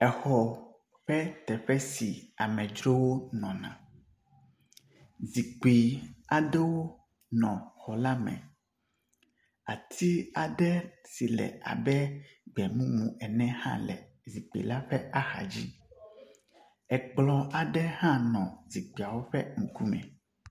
Exɔ ƒe teƒe si amedzrowo nɔna. zikpui aɖewo nɔ xɔ la me. Ati aɖe si le abe gbemumu ene hã le zikpui la ƒe axa dzi. Ekplɔ aɖe hã nɔ zikpuiawo ƒe ŋkume.